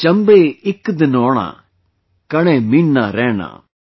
"Chambe Ek Din Ona Kane Mahina Raina"